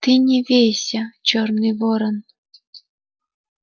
ты не вейся чёрный ворон